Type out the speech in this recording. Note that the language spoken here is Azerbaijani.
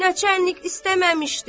Naçarnik istəməmişdi.